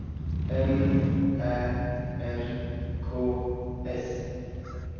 M Ä R K S